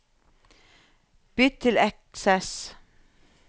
Bytt til Access